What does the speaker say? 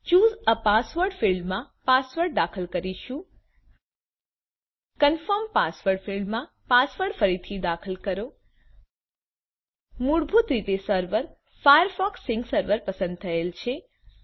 choose a password ફિલ્ડમાં password દાખલ કરીશું કન્ફર્મ પાસવર્ડ ફિલ્ડમાં પાસવર્ડ ફરીથી દાખલ કરો મૂળભૂત રીતે સર્વર ફાયરફોક્સ સિન્ક સર્વર પસંદ થયેલ છે